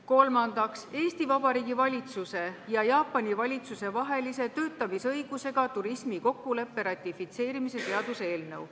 Kolmandaks, Eesti Vabariigi valitsuse ja Jaapani valitsuse vahelise töötamisõigusega turismi kokkuleppe ratifitseerimise seaduse eelnõu.